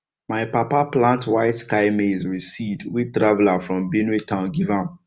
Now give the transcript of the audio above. my papa plant white sky maize with seed wey traveller from benue town give am